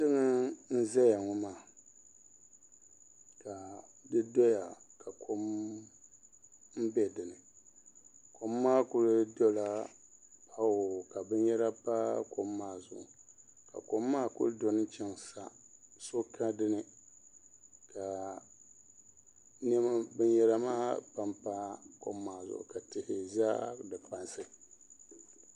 Dikpuni n ʒɛya ŋo maa ka di doya ka kom bɛ dinni kom maa ku dola huu ka binyɛra pa kom maa zuɣu ka kom maa ku doni chɛŋ sa so ka dinni ka niɛma binyɛra maa panpa kom maa zuɣu ka tihi ʒɛ di kpansi